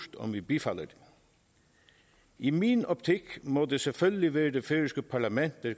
om vi bifalder det i min optik må det selvfølgelig være det færøske parlament der